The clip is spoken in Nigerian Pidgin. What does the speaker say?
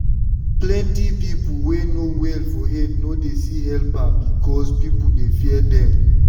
plenty people wey no well for head no dey see helperbecause people dey fear them.